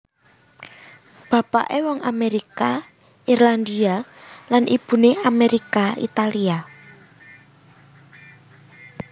Bapaké wong Amérika Irlandia lan ibuné Amérika Italia